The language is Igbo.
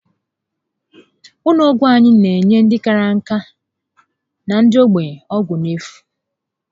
Ụlọ ọgwụ anyị n'enye ndị kárá nka na ndị ogbenye ọgwụ n'efu